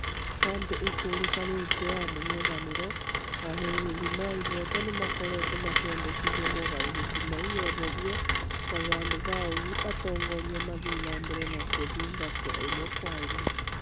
Kambĩ ikũrĩkanĩte ya mũng'ethaniro, arũirĩri na ihoto nĩmakoretwo makĩendekithia mogarũrũku mau meherio na handũ ha ũguo atongoria mathiĩ na mbere na gũthitangwo imwe kwa imwe